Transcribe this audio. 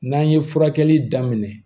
N'an ye furakɛli daminɛ